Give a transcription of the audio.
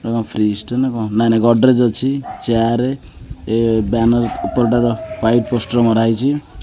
ୟେଟା କଣ ଫ୍ରିଜ୍ ଟେ ନା କଣ ନାଇ ନାଇ ଗଡ୍ରେଜ ଅଛି ଚେୟାର ୟେ ବ୍ୟାନର ଉପରଟାର ୱାଇଟ୍ ପୋଷ୍ଟର ମରାହେଇଛି।